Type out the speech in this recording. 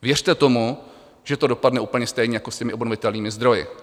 Věřte tomu, že to dopadne úplně stejně jako s těmi obnovitelnými zdroji.